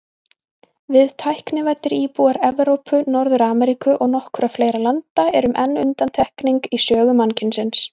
Við, tæknivæddir íbúar Evrópu, Norður-Ameríku og nokkurra fleiri landa, erum enn undantekning í sögu mannkynsins.